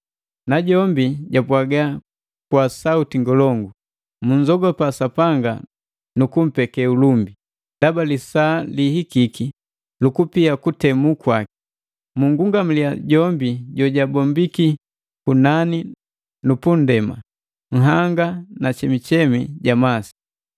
Najombi japwaga kwa sauti ngolongu, “Munzogopa Sapanga nukumpeke ulumbi! Ndaba lisaa lihikiki lukupia kutemuliwa kwaki. Mungungamaliya jombi jojabombiki kunani nu pu ndema, nhanga na chemuchemu ja masi.”